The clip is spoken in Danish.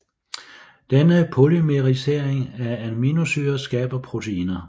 Denne polymerisering af aminosyrer skaber proteiner